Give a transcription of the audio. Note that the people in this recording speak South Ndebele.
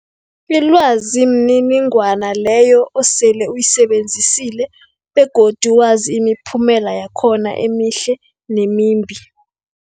Ilwazi mniningwana leyo osele uyisebenzisile begodu wazi imiphumela yakhona emihle nemimbi.